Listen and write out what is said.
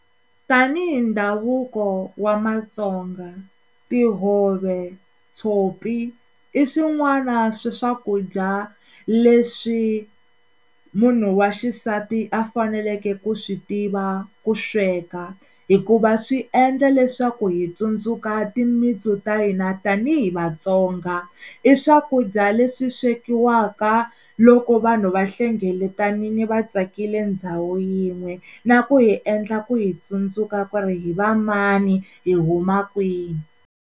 Tanihi ndhavuko wa maTsonga tihove, tshopi i swin'wana swa swakudya leswi munhu wa xisati a faneleke ku swi tiva ku sweka hikuva swi endla leswaku hi tsundzuka timitsu ta hina tanihi Vatsonga i swakudya leswi swekiwaka loko vanhu va hlengeletanini va tsakile ndhawu yin'we na ku hi endla ku hi tsundzuka ku ri hi va mani hi huma kwihi.